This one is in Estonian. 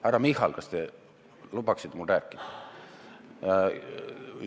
Härra Michal, kas te lubaksite mul rääkida?